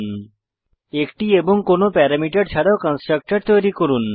1 টি এবং কোনো প্যারামিটার ছাড়াও কন্সট্রকটর তৈরী করুন